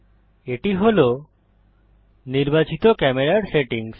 এটি হল নির্বাচিত ক্যামেরার সেটিংস